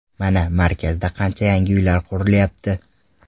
Mana, markazda qancha yangi uylar qurilyapti.